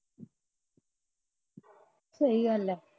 ਸਹੀ ਗੱਲ ਐ